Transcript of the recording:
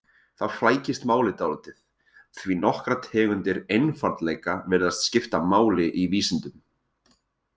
Þá flækist málið dálítið, því nokkrar tegundir einfaldleika virðast skipta máli í vísindum.